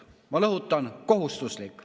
Ma rõhutan: kohustuslik.